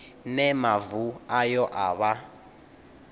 ne mavu ayo a vha